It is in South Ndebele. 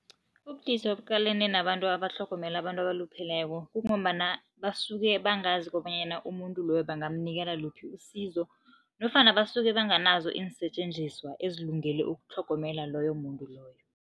Ubudisi obuqalene nabantu abatlhogomela abantu abalupheleko kungombana basuke bangazi kobanyana umuntu loyo bangamnikela luphi usizo nofana basuke banganazo iinsetjenziswa ezilungele ukutlhogomela loyo muntu loyo.